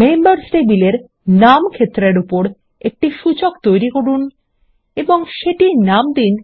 members টেবিলের নাম ক্ষেত্রের উপর একটি সূচক তৈরি করুন এবং সেটির নাম দিন